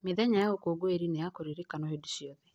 Mĩthenya ya ũkũngũĩri nĩ ya kũririkanwo hĩndĩ ciothe.